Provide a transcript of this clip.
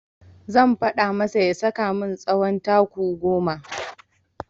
Zan faɗa masa ya saka min tsawon taku goma.